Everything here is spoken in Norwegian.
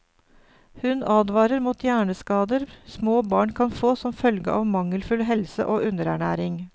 Hun advarer mot hjerneskader småbarn kan få som følge av mangelfull helse og underernæring.